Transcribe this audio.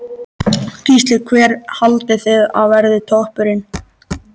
Gísli: Hver haldið þið að verði toppurinn?